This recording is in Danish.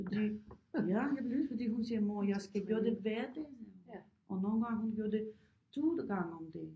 Fordi ja fordi hun siger mor jeg skal gøre det hver dag og nogle gange hun gør det 1000 gange om dagen